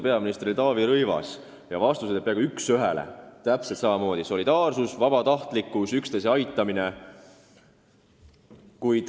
Peaminister oli Taavi Rõivas ja vastused olid peaaegu täpselt samasugused: solidaarsus, vabatahtlikkus, üksteise aitamine.